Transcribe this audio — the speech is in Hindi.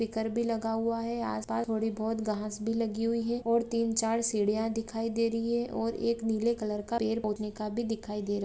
स्पीकर भी लगा हुआ है आसपास थोड़ी बहुत घास भी लगी हुई है और तीन चार सीढ़ियां दिखाई दे रही है और एक नीले कलर का पेड़--